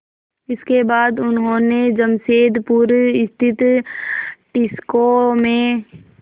इसके बाद उन्होंने जमशेदपुर स्थित टिस्को में